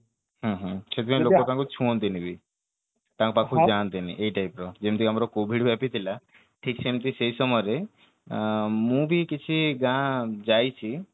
ହୁଁ ହୁଁ ସେଇଥିପାଇଁ ଲୋକ ତାଙ୍କୁ ଛୁଅନ୍ତି ନି ବି ତାଙ୍କ ପାଖକୁ ଯାଆନ୍ତି ନି ଏଇ type ର ଯେମିତି ଆମର covid ବ୍ୟାପିଥିଲା ଠିକ ସେମିତି ସେଇ ସମୟରେ ଅ ମୁଁ ବି କିଛି ଗାଁ ଯାଇଛି